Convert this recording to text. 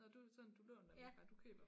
Nå du sådan du låner nej du køber dem